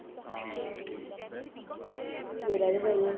ਤੇਰਾ ਵੀ ਕਰੀਏ